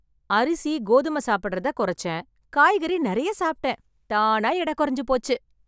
அரிசி, கோதுமை சாப்பிடறத குறைச்சேன், காய்கறி நிறைய சாப்பிட்டேன், தானா எடை குறைஞ்சு போச்சு.